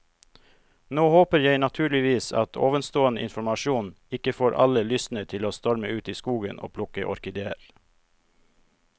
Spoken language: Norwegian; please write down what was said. Nå håper jeg naturligvis at ovenstående informasjon ikke får alle lystne til å storme ut i skogen og plukke orkideer.